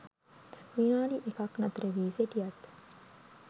විනාඩි එකක් නතරවී සිටියත්